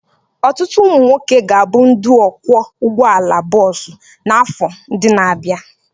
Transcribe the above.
Ọtụtụ ụmụ nwoke ga-abụ ndị ọkwọ ụgbọala bọọsụ n'afọ ndị na-abịa.